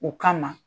O kama